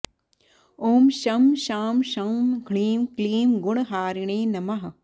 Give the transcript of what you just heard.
ॐ शं शां षं ह्रीं क्लीं गुणहारिणे नमः